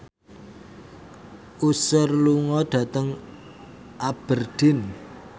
Usher lunga dhateng Aberdeen